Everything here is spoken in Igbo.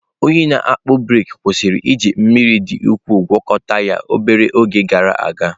Onye na-akpụ brik kwụsịrị iji mmiri dị ukwuu gwakọta ya obere oge gara aga.